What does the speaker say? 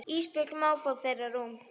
Ísbjörg má fá þeirra rúm.